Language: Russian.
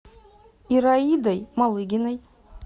ираидой малыгиной